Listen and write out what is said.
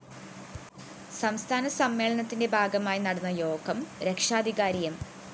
സംസ്ഥാന സമ്മേളനത്തിന്റെ ഭാഗമായി നടന്ന യോഗം രക്ഷാധികാരി എം